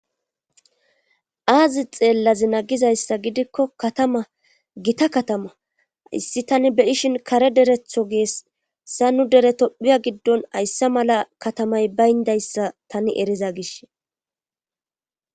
aazi xeellazi na gizayssa gidikko katama gita katama hayssi tani be ishin kare deretho geesssa nu dere topphiya giddon haysse mala katamay bayndayssa tani eriza gish